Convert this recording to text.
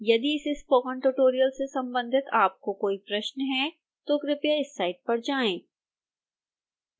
यदि इस spoken tutorial से संबंधित आपके कोई प्रश्न हैं तो कृपया इस साइट पर जाएं